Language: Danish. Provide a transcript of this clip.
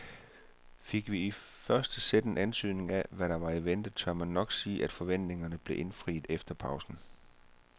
Fik vi i første sæt en antydning af hvad der var i vente, tør man nok sige at forventningerne blev indfriet efter pausen.